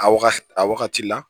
A waga a wagati la